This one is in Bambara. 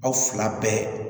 Aw fila bɛɛ